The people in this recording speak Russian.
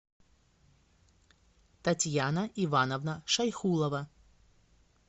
татьяна ивановна шайхулова